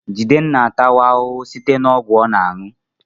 Jideofor atawo ahụhụ site na ọgwụ site na ọgwụ ọ na-aṅụ